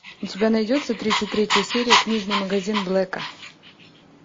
у тебя найдется тридцать третья серия книжный магазин блэка